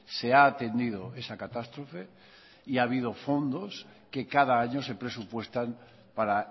se ha atendido esa catástrofe y ha habido fondos que cada año se presupuestan para